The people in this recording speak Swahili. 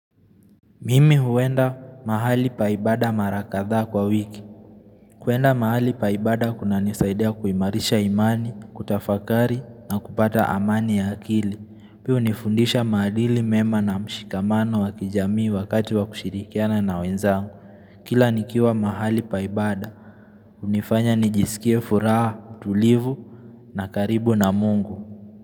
Mimi huenda mahali pa ibada mara kadha kwa wiki. Kwenda mahali pa ibada kuna nisaidia kuimarisha imani, kutafakari na kupata amani ya akili. Pia hunifundisha maadili mema na mshikamano wa kijamii wakati wa kushirikiana na wenzangu. Kila nikiwa mahali paibada. Hunifanya nijisikie furaha, tulivu na karibu na mungu.